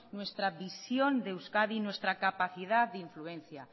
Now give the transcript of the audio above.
nuestra visión de euskadi nuestra capacidad de influencia